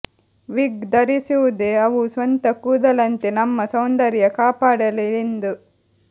ವಿಗ್ ಧರಿಸುವುದೇ ಅವು ಸ್ವಂತ ಕೂದಲಂತೆ ನಮ್ಮ ಸೌಂದರ್ಯ ಕಾಪಾಡಲಿ ಎಂದು